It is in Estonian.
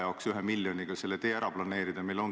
Vaat, ma ei tea, mis nüüd teie teete, kas võtate krapsti välja.